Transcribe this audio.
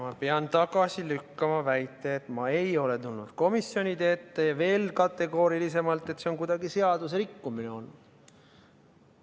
Ma pean tagasi lükkama väite, et ma ei ole tulnud komisjonide ette, ja veel kategoorilisemalt, et see on kuidagi seadusrikkumine olnud.